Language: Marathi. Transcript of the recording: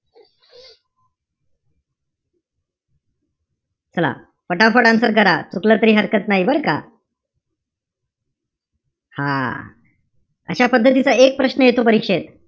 चला. पटापट answer करा. चुकलं तरी हरकत नाई बरं का. हां. अशा पद्धतीचा एक प्रश्न येतो परीक्षेत.